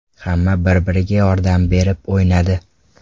Hamma bir-biriga yordam berib o‘ynadi.